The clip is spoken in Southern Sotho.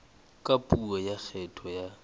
ka puo ya kgetho ya